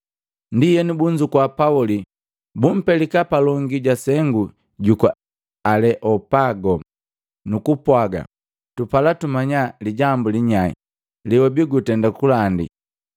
Ndienu bunzukua Pauli, bumpelika palongi ja sengu juku Aleopago, nukupwaga, “Tupala tumanya lijambu linyahi lewabii gutenda kulandi.